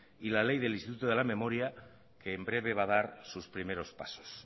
y la ley de instituto a la memoria que en breve va a dar sus primero pasos